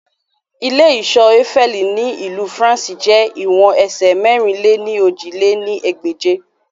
Ile-iṣọ Eiffel ni Ilu Faranse jẹ iwọn ẹsẹ mẹ̀rin-lé-ní-ojì lé ní ẹgbẹ́je